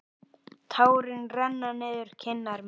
Tárin renna niður kinnar mínar.